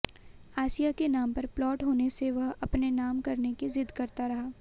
आसिया के नाम पर प्लॉट होने से वह अपने नाम करने की जिद करता रहा